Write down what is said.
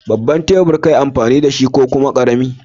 Babban tebur ka yi amfani da shi ko kuma ƙarami?